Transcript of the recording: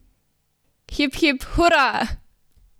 Hip, hip, hura!